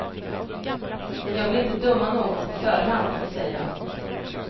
Jag vill inte döma någon på förhand, säger han.